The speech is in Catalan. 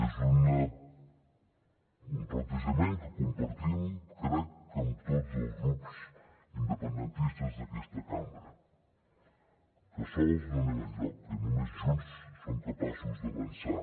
és un plantejament que compartim crec que amb tots els grups independentistes d’aquesta cambra que sols no anem enlloc que només junts som capaços d’avançar